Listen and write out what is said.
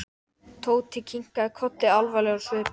Tóti kinkaði kolli alvarlegur á svip.